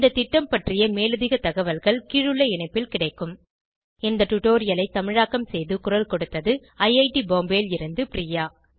இந்த திட்டம் பற்றிய மேலதிக தகவல்கள் கீழுள்ள இணைப்பில் கிடைக்கும் httpspoken tutorialorgNMEICT Intro இந்த டுடோரியலை தமிழாக்கம் செய்து குரல் கொடுத்தது ஐஐடி பாம்பேவில் இருந்து பிரியா